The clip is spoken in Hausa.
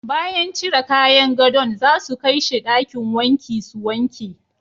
Bayan cire kayan godo'n za su kai she dakin wanki su wanke.